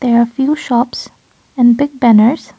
there are few shops and Big banners.